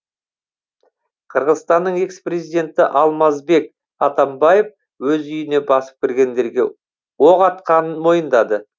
қырғызстанның экс президенті алмазбек атамбаев өз үйіне басып кіргендерге оқ атқанын мойындады